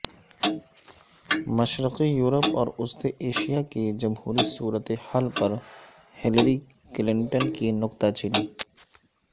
مشرقی یورپ اور وسطی ایشیا کی جمہوری صورت حال پر ہلری کلنٹن کی نکتہ چینی